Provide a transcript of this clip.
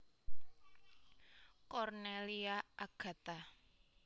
Cornelia Agatha